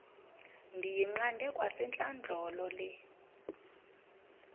ndiyiqande kwasentlandlolo le